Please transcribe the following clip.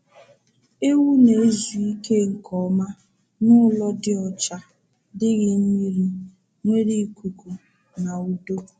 Ewu na-ezu ike nke ọma n’ụlọ dị ọcha, dịghị mmiri, nwere ikuku na udo.